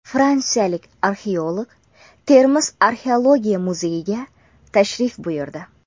Fransiyalik arxeolog Termiz arxeologiya muzeyiga tashrif buyurdi.